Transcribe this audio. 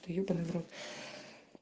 та ебанный в рот